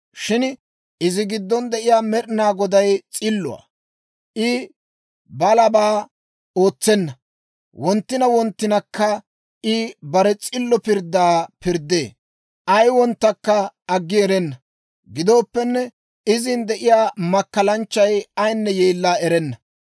Shin izi giddon de'iyaa Med'inaa Goday s'illuwaa; I balabaa ootsenna; wonttina wonttinakka I bare s'illo pirddaa pirddee; ay wonttankka aggi erenna. Gidooppenne, izin de'iyaa makkalanchchay ayinne yeella erenna.